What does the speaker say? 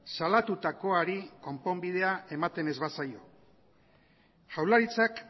salatutakoari konponbidea ematen ez bazaio jaurlaritzak